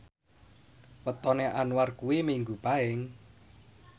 wetone Anwar kuwi Minggu Paing